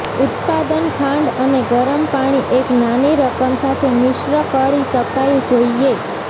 ઉત્પાદન ખાંડ અને ગરમ પાણી એક નાની રકમ સાથે મિશ્ર કરી શકાય જોઈએ